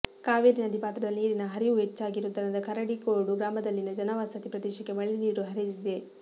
ಕಾವೇರಿ ನದಿ ಪಾತ್ರದಲ್ಲಿ ನೀರಿನ ಹರಿವು ಹೆಚ್ಚಾಗಿರುವುದರಿಂದ ಕರಡಿಗೋಡು ಗ್ರಾಮದಲ್ಲಿನ ಜನವಸತಿ ಪ್ರದೇಶಕ್ಕೆ ಮಳೆ ನೀರು ಹರಿದಿದೆ